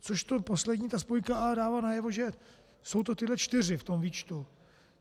Což to poslední, ta spojka, a dává najevo, že jsou to tyhle čtyři v tom výčtu.